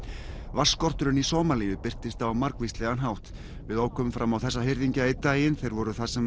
vatnsskorturinn í Sómalíu birtist á margvíslegan hátt við ókum fram á þessa hirðingja einn daginn þeir voru það sem